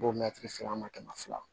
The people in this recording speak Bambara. Bo mɛtiri filanan ma kɛmɛ fila